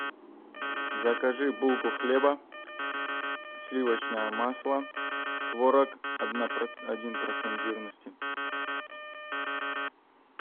закажи булку хлеба сливочное масло творог один процент жирности